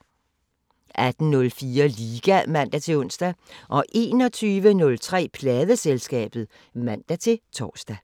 18:04: Liga (man-ons) 21:03: Pladeselskabet (man-tor)